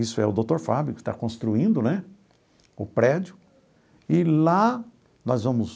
Isso é o doutor Fábio que está construindo né o prédio e lá nós vamos